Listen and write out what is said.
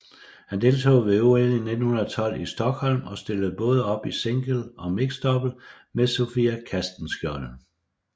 Han deltog ved OL i 1912 i Stockholm og stillede både op i single og mixed double med Sofie Castenschiold